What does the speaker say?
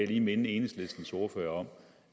lige minde enhedslistens ordfører om